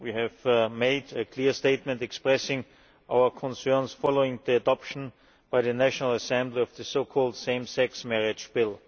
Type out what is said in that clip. We have made a clear statement expressing our concerns following the adoption by the National Assembly of the so called Same Sex Marriage Bill.